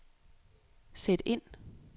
sæt ind